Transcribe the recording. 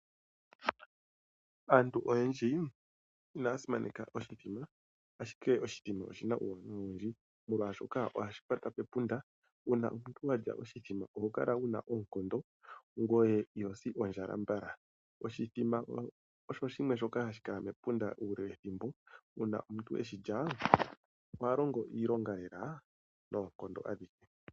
Aantu oyendji inaya simaneka oshithima ashike oshithima oshina uuwanawa owundji, molwaashoka ohashi kwata pepunda. Uuna omuntu wa lya oshithima oho kala wu na oonkondo ngweye iho si ondjala mbala. Oshithima osho shimwe shoka ha shi kala mepunda uule wethimbo, uuna omuntu e shi lya oha longo iilonga lela noonkondo adhihe.